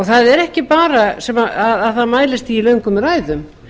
það er ekki bara að það mælist í löngum ræðum